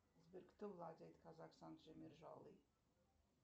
сбер кто владеет казахстан